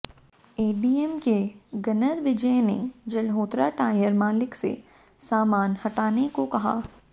ADM के gunner Vijay ने Jalhotra tyre मालिक से सामान हटाने को कहा